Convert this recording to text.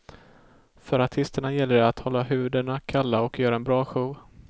För artisterna gäller det att hålla huvudena kalla och göra en bra show.